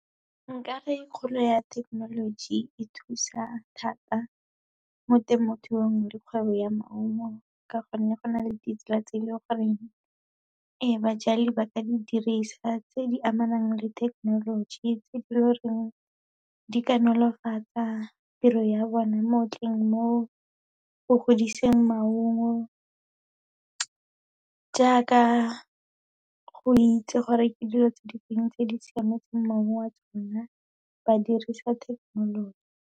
Nka re kgolo ya thekenoloji e thusa thata mo temothuong le kgwebo ya maungo ka gonne, go na le ditsela tse e leng gore ee, bajali ba ka di dirisa tse di amanang le thekenoloji, tse e leng gore di ka nolofatsa tiro ya bona mo go godiseng maungo, jaaka go itse gore ke dilo tse difeng tse di siametseng maungo, a tsona ba dirisa thekenoloji.